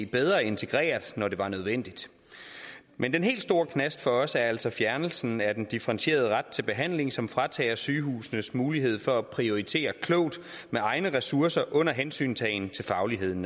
bedre integreret når det var nødvendigt men den helt store knast for os er altså fjernelsen af den differentierede ret til behandling som fratager sygehusene muligheden for at prioritere klogt med egne ressourcer naturligvis under hensyntagen til fagligheden